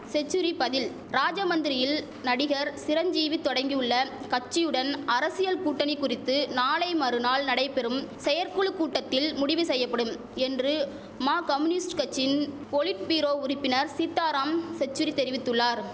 செச்சுரி பதில் ராஜமந்திரியில் நடிகர் சிரஞ்சீவி தொடங்கியுள்ள கட்சியுடன் அரசியல் கூட்டணி குறித்து நாளை மறுநாள் நடைபெறும் செயற்குழு கூட்டத்தில் முடிவு செய்யப்படும் என்று மா கமுனிஸ்ட் கச்சின் பொலிட் பீரோ உறுப்பினர் சீத்தாராம் செச்சுரி தெரிவித்துள்ளார்